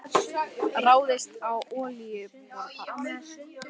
Ráðist á olíuborpall